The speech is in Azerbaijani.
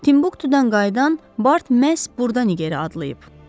Timbuktudan qayıdan Bart məhz burdan Nigeriya adlayıb.